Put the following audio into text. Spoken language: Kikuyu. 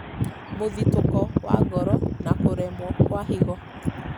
mũthitũko wa ngoro, na kũremwo kwa higo